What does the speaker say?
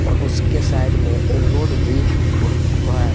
और उसके साइड में एक रोड भी है।